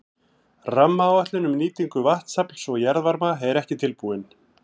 Rammaáætlun um nýtingu vatnsafls og jarðvarma er ekki tilbúin.